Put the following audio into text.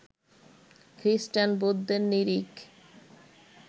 খ্রিস্টান, বৌদ্ধের নিরিখ